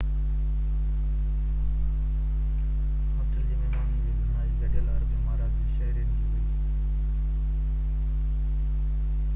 hostel جي مهمانن جي گهڻائي گڏيل عرب امارات جي شهرين جي هئي